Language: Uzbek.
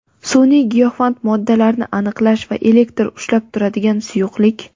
Sun’iy giyohvand moddalarni aniqlash va elektr ushlab turadigan suyuqlik.